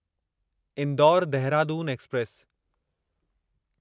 Indore Dehradun express